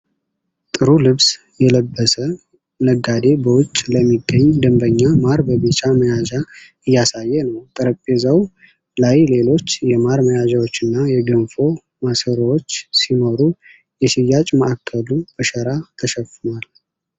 ጥሩ ልብስ የለበሰ ነጋዴ በውጪ ለሚገኝ ደንበኛ ማር በቢጫ መያዣ እያሳየ ነው። ጠረጴዛው ላይ ሌሎች የማር መያዣዎችና የገንፎ ማሰሮዎች ሲኖሩ፣ የሽያጭ ማዕከሉ በሸራ ተሸፍኗል።